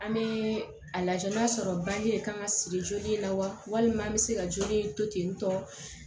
An bɛ a lajɛ n'a sɔrɔ bange de kan ka siri joli la walima an bɛ se ka joli to ten tɔ